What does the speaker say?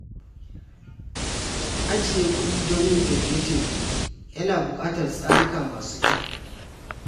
Ajiye kuɗi don yin tafiye-tafiye yana buƙatar tsarikan masu kyau.